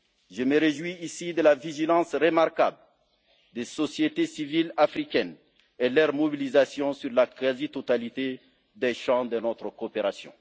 Je me réjouis ici de la vigilance remarquable des sociétés civiles africaines et de leur mobilisation sur la quasi totalité des champs de notre coopération.